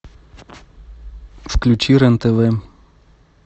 включи рен тв